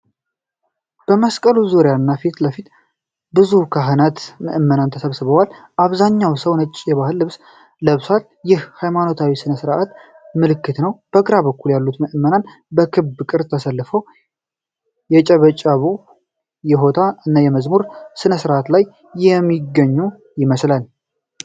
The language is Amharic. በመስቀሉ ዙሪያ እና በፊት ለፊት ብዙ ካህናትና ምእመናን ተሰብስበዋል። አብዛኛው ሰው ነጭ የባህል ልብስ ለብሷል፣ ይህም የሃይማኖታዊ ሥነ ሥርዓት ምልክት ነው። በግራ በኩል ያሉ ምእመናን በክብ ቅርጽ ተሰልፈው የጭብጨባ፣ የሆታ እና የመዝሙር ሥርዓት ላይ የሚገኙ ይመስላል።